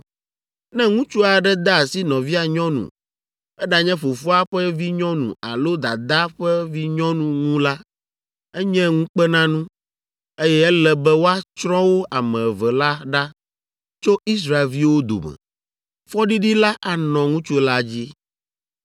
“ ‘Ne ŋutsu aɖe de asi nɔvia nyɔnu, eɖanye fofoa ƒe vinyɔnu alo dadaa ƒe vinyɔnu ŋu la, enye ŋukpenanu, eye ele be woatsrɔ̃ wo ame eve la ɖa tso Israelviwo dome. Fɔɖiɖi la anɔ ŋutsu la dzi.